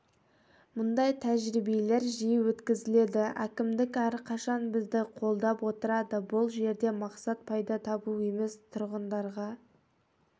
мұндай тәжірибелер жиі өткізіледі әкімдік әрқашан бізді қолдап отырады бұл жерде мақсат пайда табу емес тұрғындарға